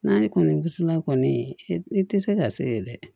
N'a ye kɔnisina kɔni i tɛ se ka se ye dɛ